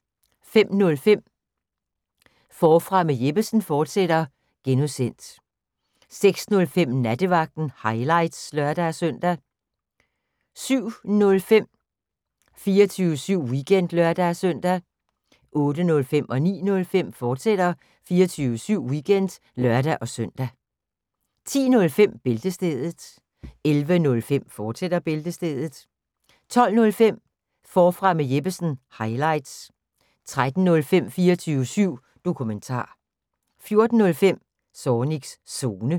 05:05: Forfra med Jeppesen fortsat (G) 06:05: Nattevagten – highlights (lør-søn) 07:05: 24syv Weekend (lør-søn) 08:05: 24syv Weekend, fortsat (lør-søn) 09:05: 24syv Weekend, fortsat (lør-søn) 10:05: Bæltestedet 11:05: Bæltestedet, fortsat 12:05: Forfra med Jeppesen – highlights 13:05: 24syv Dokumentar 14:05: Zornigs Zone